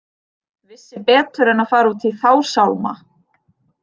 Vissi betur en að fara út í þá sálma.